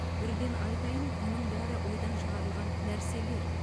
бірден айтайын мұның бәрі ойдан шығарылған нәрселер